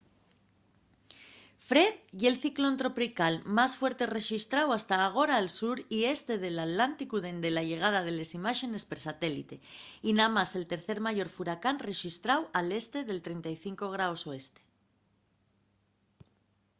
fred ye’l ciclón tropical más fuerte rexistráu hasta agora al sur y este del atlánticu dende la llegada de les imáxenes per satélite y namás el tercer mayor furacán rexistráu al este del 35º o